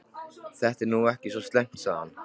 Þetta er nú ekki svo slæmt sagði hann.